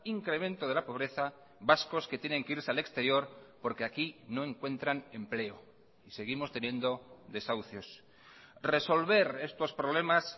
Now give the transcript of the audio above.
incremento de la pobreza vascos que tienen que irse al exterior porque aquí no encuentran empleo y seguimos teniendo desahucios resolver estos problemas